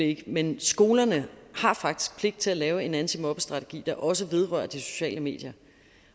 ikke men skolerne har faktisk pligt til at lave en antimobbestrategi der også vedrører de sociale medier